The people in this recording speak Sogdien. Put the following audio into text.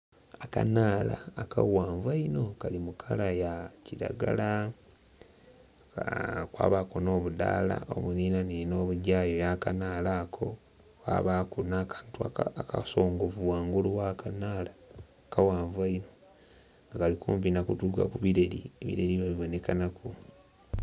Akanala akaghanvu einho kali mukala ya kiragala kwabaku n'obudhaala obuninanina obugyayo yakanala ako kwabaku n'akantu akasongovu ghangulu ghakanala akaghanvu einho nga kali kumpi nakutuka kubireri, ebireri nga biboneka naku.